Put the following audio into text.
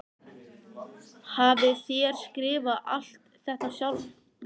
Hafið þér skrifað alt þetta sjálfur?